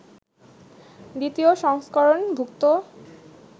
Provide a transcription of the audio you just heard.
দ্বিতীয় সংস্করণ-ভুক্ত